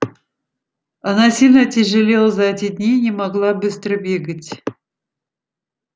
она сильно отяжелела за эти дни и не могла быстро бегать